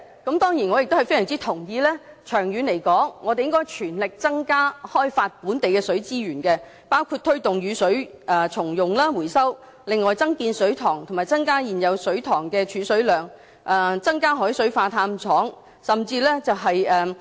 我當然亦非常同意，長遠來說應該全力增加開發本地的水資源，包括推動雨水重用、回收、增建水塘及增加現有水塘的儲水量、增加海水化淡廠。